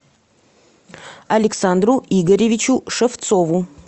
александру игоревичу шевцову